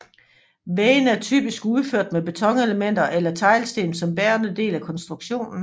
Væggene er typisk udført med betonelementer eller teglsten som bærende del af konstruktionen